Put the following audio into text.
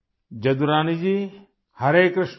Jadurani Ji, Hare Krishna